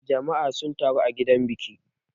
Jama'a sun taru a gidan biki.